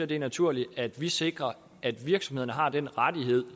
det naturligt at vi sikrer at virksomhederne har den rettighed